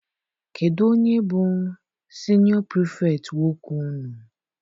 Kedụ onye bụ siniọ pirifektị nwoke unu?